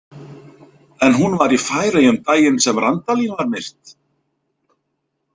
En hún var í Færeyjum daginn sem Randalín var myrt?